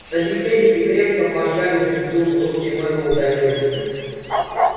собеседники крепко пожали друг другу руки мэллоу удалился